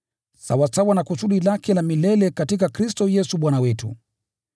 sawasawa na kusudi lake la milele katika Kristo Yesu Bwana wetu.